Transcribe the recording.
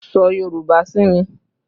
Sọ Yorùbá sí mi!